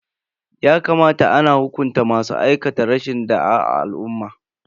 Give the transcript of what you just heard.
Ya kamata ana hukunta masu aikata rashin da'a a al'umma.